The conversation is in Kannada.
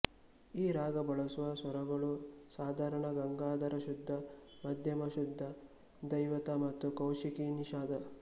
ಈ ರಾಗ ಬಳಸುವ ಸ್ವರಗಳು ಸಾಧಾರಣ ಗಾಂಧಾರ ಶುದ್ಧ ಮಧ್ಯಮ ಶುದ್ಧ ದೈವತ ಮತ್ತು ಕೌಶಿಕಿ ನಿಷಾದ